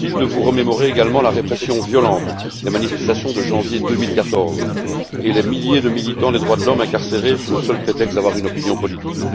Inutile de vous remémorer également la répression violente des manifestations de janvier 2014 et les milliers de militants des droits de l'homme incarcérés sous le seul prétexte d'avoir une opinion politique.